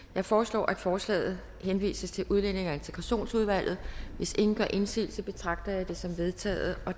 jeg foreslår at forslaget henvises til udlændinge og integrationsudvalget hvis ingen gør indsigelse betragter jeg det som vedtaget